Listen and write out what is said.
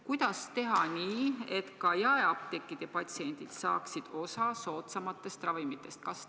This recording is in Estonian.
Kuidas teha nii, et ka jaeapteegid saaksid osa soodsamatest ravimitest?